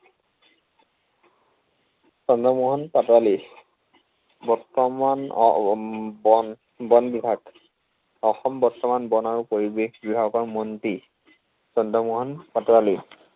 চন্দ্ৰমোহন পাটোৱালী বৰ্তমান আহ উম বন বনবিভাগ, অসম বৰ্তমান বন আৰু পৰিৱেশ বিভাগৰ মন্ত্ৰী। চন্দ্ৰমোহন পাটোৱালী